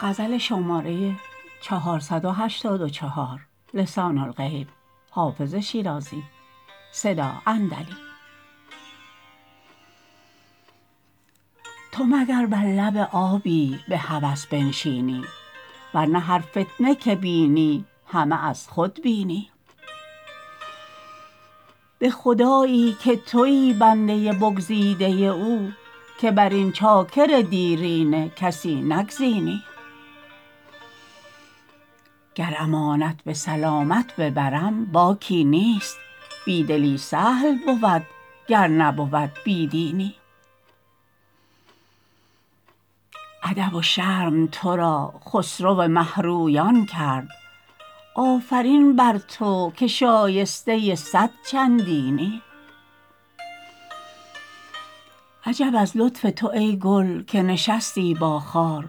تو مگر بر لب آبی به هوس بنشینی ور نه هر فتنه که بینی همه از خود بینی به خدایی که تویی بنده بگزیده او که بر این چاکر دیرینه کسی نگزینی گر امانت به سلامت ببرم باکی نیست بی دلی سهل بود گر نبود بی دینی ادب و شرم تو را خسرو مه رویان کرد آفرین بر تو که شایسته صد چندینی عجب از لطف تو ای گل که نشستی با خار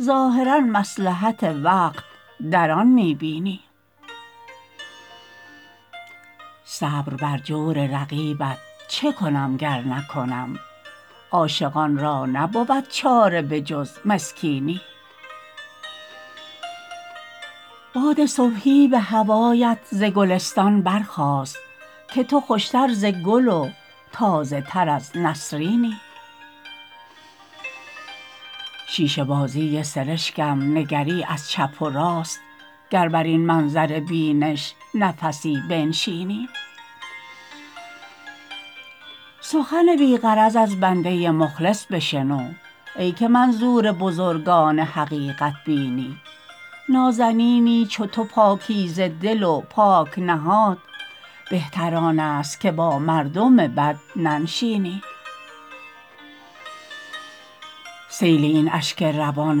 ظاهرا مصلحت وقت در آن می بینی صبر بر جور رقیبت چه کنم گر نکنم عاشقان را نبود چاره به جز مسکینی باد صبحی به هوایت ز گلستان برخاست که تو خوش تر ز گل و تازه تر از نسرینی شیشه بازی سرشکم نگری از چپ و راست گر بر این منظر بینش نفسی بنشینی سخنی بی غرض از بنده مخلص بشنو ای که منظور بزرگان حقیقت بینی نازنینی چو تو پاکیزه دل و پاک نهاد بهتر آن است که با مردم بد ننشینی سیل این اشک روان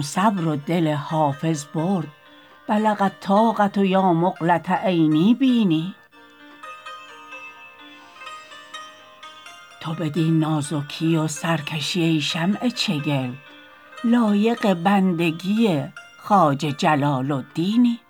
صبر و دل حافظ برد بلغ الطاقة یا مقلة عینی بیني تو بدین نازکی و سرکشی ای شمع چگل لایق بندگی خواجه جلال الدینی